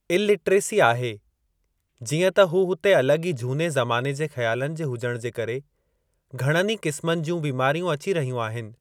Illiteracy आहे जीअं त हू हुते अलगि॒ ई झूने ज़माने जे ख़्यालनि जे हुजण जे करे घणनि ई क़िस्मनि जूं बीमारियूं अची रहियूं आहिनि।